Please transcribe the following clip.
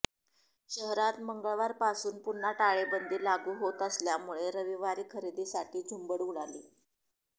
शहरात मंगळवारपासून पुन्हा टाळेबंदी लागू होत असल्यामुळे रविवारी खरेदीसाठी झुंबड उडाली